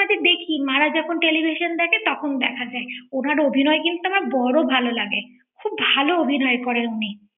মাঝে মাঝে দেখি মা রা যখন টেলিভিশন দেখে তখন দেখা যায় উনার অভিনয় কিন্তু আমার বড়ো ভালো লাগে খুব ভালো অভিনয় করেন উনি